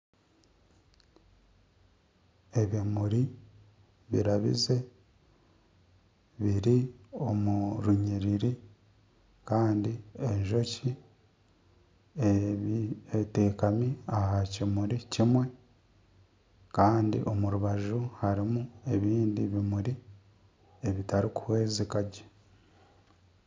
Ebimuri birabize biri omu runyiriri kandi enjoki etekaami aha kimuri kimwe kandi omu rubaju harimu ebindi bimuri ebitarikuhwezeka gye.